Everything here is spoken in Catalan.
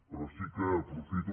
però sí que aprofito